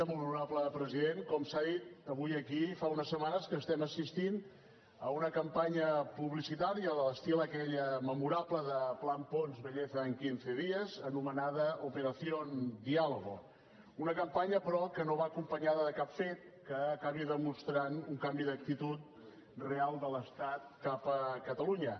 molt honorable president com s’ha dit avui aquí fa unes setmanes que estem assistint a una campanya publicitària a l’estil d’aquella memorable de plan una campanya però que no va acompanyada de cap fet que acabi demostrant un canvi d’actitud real de l’estat cap a catalunya